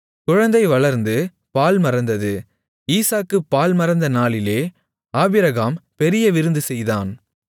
குழந்தை வளர்ந்து பால் மறந்தது ஈசாக்கு பால் மறந்த நாளிலே ஆபிரகாம் பெரிய விருந்து செய்தான்